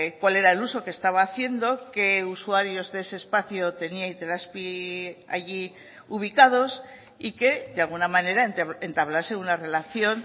cuál era el uso que estaba haciendo qué usuarios de ese espacio tenía itelazpi allí ubicados y que de alguna manera entablase una relación